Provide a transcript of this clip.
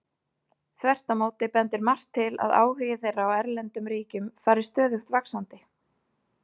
Þvert á móti bendir margt til að áhugi þeirra á erlendum ríkjum fari stöðugt vaxandi.